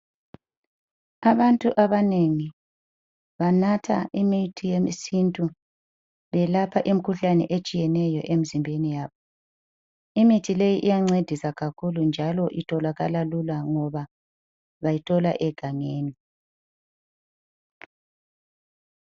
Abantu abanengi banatha imithi yesintu, belapha imikhuhlane etshiyeneyo emzimbeni yabo. Imithi leyi iyancedisa kakhulu njalo itholakala lula ngoba bayithola egangeni